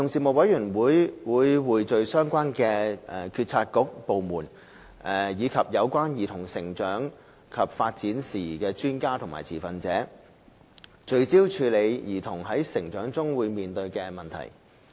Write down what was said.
委員會匯聚相關政策局/部門，以及有關兒童成長及發展事宜的專家和持份者，聚焦處理兒童在成長中面對的問題。